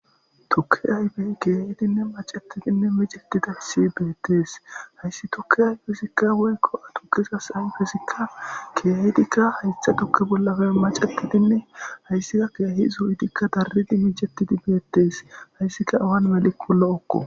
Tokki aybey kiyahidinne macetidinne micettidahyssi beettees hayssi tokki ayifezikka goykko ha tukizas ayfezikka kiyahidikka haytha tukki bollafe macetidinne hayssika kiyahi zu7idikka darridi micettidi beettees hayssika awan melikko lo7okko.